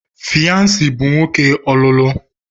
Fyansi bụ nwoke ọlụlụ.